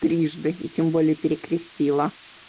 трижды и тем более перекрестила